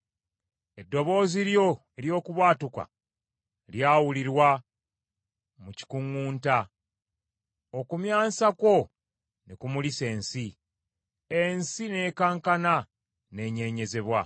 Eddoboozi lyo ery’okubwatuka lyawulirwa mu kikuŋŋunta okumyansa kwo ne kumulisa ensi. Ensi n’ekankana n’enyeenyezebwa.